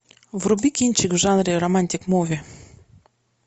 вруби кинчик в жанре романтик муви